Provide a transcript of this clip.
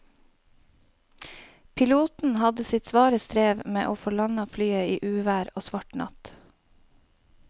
Piloten hadde sitt svare strev med å få landet flyet i uvær og svart natt.